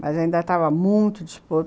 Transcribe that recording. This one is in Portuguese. Mas ainda estava muito disposto.